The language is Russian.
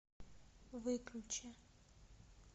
выключи